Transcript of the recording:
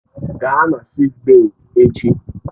Gaa na sịịk bèyí echi!